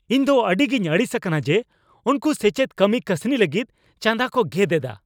ᱤᱧᱫᱚ ᱟᱹᱰᱤᱜᱤᱧ ᱟᱹᱲᱤᱥ ᱟᱠᱟᱱᱟ ᱡᱮ ᱩᱱᱠᱩ ᱥᱮᱪᱮᱫ ᱠᱟᱹᱢᱤ ᱠᱟᱹᱥᱱᱤ ᱞᱟᱹᱜᱤᱫ ᱪᱟᱸᱫᱟ ᱠᱚ ᱜᱮᱫ ᱮᱫᱟ ᱾